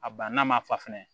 A banna ma fa fɛnɛ